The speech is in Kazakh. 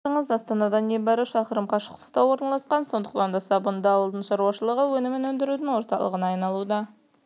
сіздердің ауылдарыңыз астанадан небәрі шықырым қашықтықта орналасқан сондықтан да сабынды ауыл шаруашылығы өнімін өндірудің орталығына айналуда